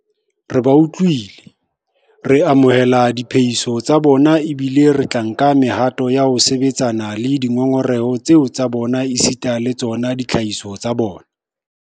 Re ba utlwile, re amohela diphehiso tsa bona ebile re tla nka mehato ya ho sebetsana le dingongoreho tseo tsa bona esita le tsona ditlhahiso tsa bona.